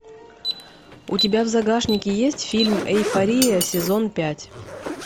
у тебя в загашнике есть фильм эйфория сезон пять